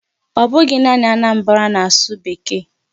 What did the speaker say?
Ọ bụghị naanị Anambra na-asụ Bekee.